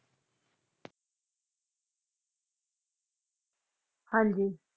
ਹਾਂਜੀ